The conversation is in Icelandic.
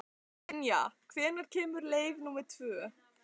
Dynja, hvenær kemur leið númer tvö?